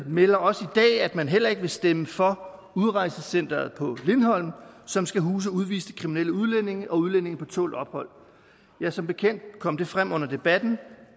melder også i dag at man heller ikke vil stemme for udrejsecenteret på lindholm som skal huse udviste kriminelle udlændinge og udlændinge på tålt ophold som bekendt kom det frem under debatten